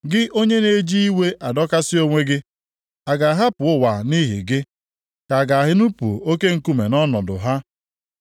Gị onye na-eji iwe adọkasị onwe gị, a ga-ahapụ ụwa nʼihi gị? Ka a ga-enupu oke nkume nʼọnọdụ ha?